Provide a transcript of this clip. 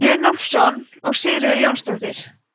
runólfsson og sigríður jónsdóttir